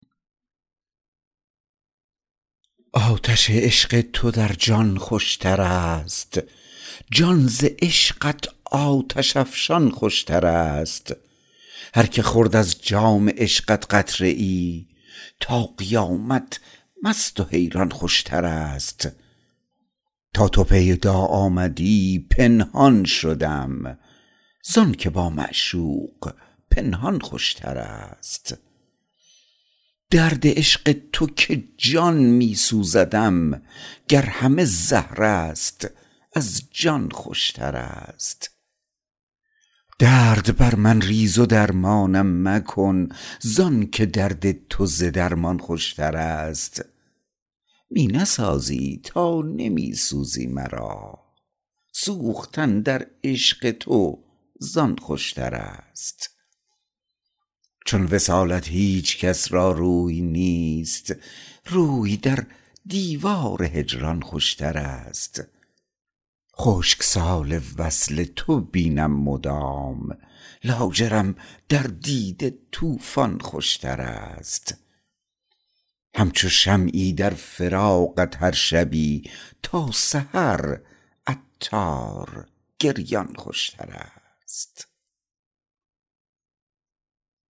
آتش عشق تو در جان خوشتر است جان ز عشقت آتش افشان خوشتر است هر که خورد از جام عشقت قطره ای تا قیامت مست و حیران خوشتر است تا تو پیدا آمدی پنهان شدم زانکه با معشوق پنهان خوشتر است درد عشق تو که جان می سوزدم گر همه زهر است از جان خوشتر است درد بر من ریز و درمانم مکن زانکه درد تو ز درمان خوشتر است می نسازی تا نمی سوزی مرا سوختن در عشق تو زان خوشتر است چون وصالت هیچکس را روی نیست روی در دیوار هجران خوشتر است خشک سال وصل تو بینم مدام لاجرم در دیده طوفان خوشتر است همچو شمعی در فراقت هر شبی تا سحر عطار گریان خوشتر است